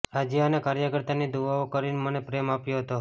રાજ્ય અને કાર્યકર્તાઓની દુઆઓ કરી મને પ્રેમ આપ્યો હતો